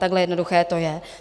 Takhle jednoduché to je.